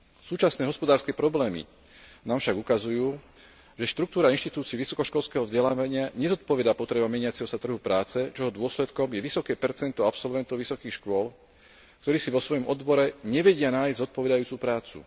Súčasné hospodárske problémy nám však ukazujú, že štruktúra inštitúcii vysokoškolského vzdelávania nezodpovedá potrebám meniaceho sa trhu práce, čoho dôsledkom je vysoké percento absolventov vysokých škôl, ktorí si vo svojom odbore nevedia nájsť zodpovedajúcu prácu.